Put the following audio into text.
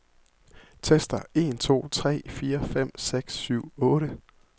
Tester en to tre fire fem seks syv otte.